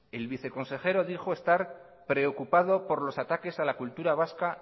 el viceconsejero dijo estar preocupado por los ataques a la cultura vasca